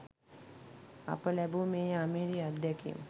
අප ලැබූ මේ අමිහිරි අත්දැකීම්